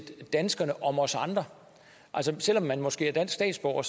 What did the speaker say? danskerne om os andre altså selvom man måske er dansk statsborger